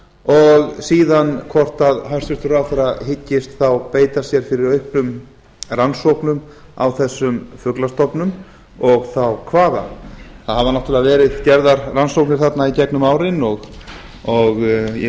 og síðan hvort hæstvirtur ráðherra hyggist beita sér fyrir auknum rannsóknum á þessum fuglastofnum og þá hvaðan það hafa náttúrulega verið gerðar rannsóknir þarna í gegnum árin og ég vil